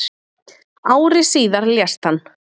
ári síðar lést hann